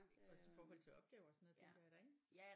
Også i forhold til opgaver og sådan noget tænker jeg da ik